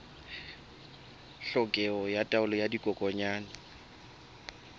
tlhokeho ya taolo ya dikokwanyana